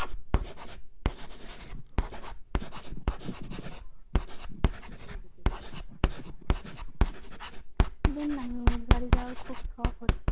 বাড়ির যাওয়ার খুব শখ হচ্ছে